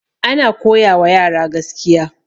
ana koyawa yara gaskiya